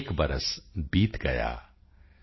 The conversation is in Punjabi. ਏਕ ਬਰਸ ਬੀਤ ਗਯਾ॥